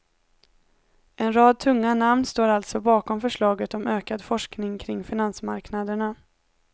En rad tunga namn står alltså bakom förslaget om ökad forskning kring finansmarknaderna.